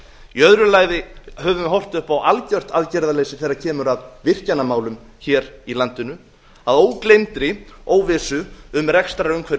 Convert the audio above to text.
í öðru lagi höfum við horft upp á algjört aðgerðarleysi þegar kemur að virkjanamálum hér í landinu að ógleymdri óvissu um rekstrarumhverfi